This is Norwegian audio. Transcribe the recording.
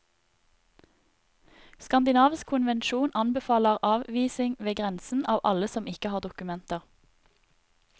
Skandinavisk konvensjon anbefaler avvisning ved grensen av alle som ikke har dokumenter.